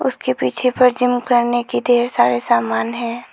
उसके पीछे पर जिम करने के ढेर सारे समान है।